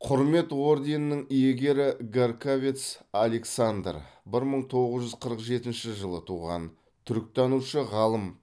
құрмет орденінің иегері гарькавец александр бір мың тоғыз жүз қырық жетінші жылы туған түріктанушы ғалым